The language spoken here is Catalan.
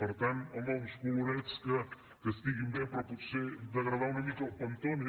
per tant home uns colorets que estiguin bé però potser degradar una mica el pantone